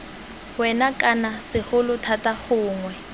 wena kana segolo thata gongwe